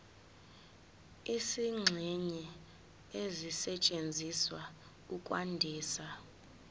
izingxenye ezisetshenziswa ukwandisa